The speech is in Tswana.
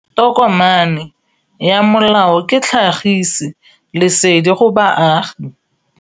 Tokomane ya molao ke tlhagisi lesedi go baagi.